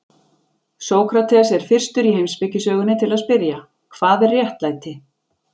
Sókrates er fyrstur í heimspekisögunni til að spyrja: Hvað er réttlæti?